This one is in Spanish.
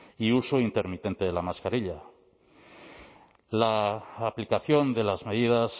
y uso intermitente de la mascarilla la aplicación de las medidas